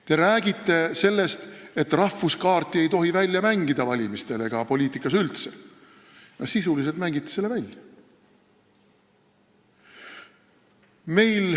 Te räägite sellest, et rahvuse kaarti ei tohi välja mängida valimistel ega poliitikas üldse, aga sisuliselt mängite ise selle välja.